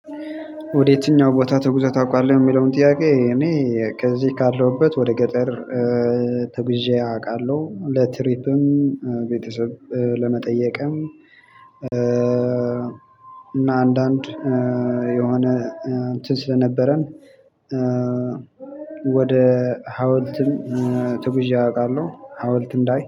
ወደ የትኛው ቦታ ተጉዘህ ታውቃለህ? የሚለውን ጥያቄ እኔ ከዚህ ካለሁበት ወደ ገጠር ተጉዤ አውቃለሁ። ለትሪፕም ቤተሰብ ለመጠየቅም እና አንዳንድ የሆነ እንትን ስለነበረን። ወደ ሀውልትም ተጉዤ አውቃለሁ ሀውልት እንዳይ